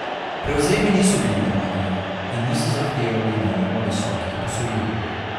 Prevzemi niso bili dragi in niso zahtevali najema visokih posojil.